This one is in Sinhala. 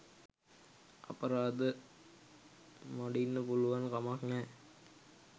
අපරාධ මඩින්න පුළුවන් කමක් නෑ.